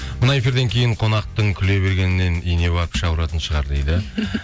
мына эфирден кейін қонақтың күле бергеннен үйіне барып іші ауыратын шығар дейді